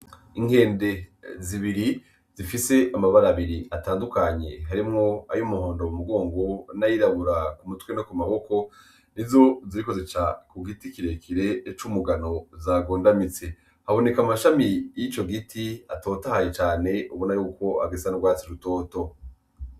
Inkende zibiri zifise amabara abiri atandukanye harimwo ayo umuhondo w' mugongo n'ayirabura ku mutwe no ku maboko ni zo zikozeca ku giti kirekere c'umugano zagondamitse haboneka amashami y'ico giti atotahaye cane ubona yuko agesana rwatsi rutoto.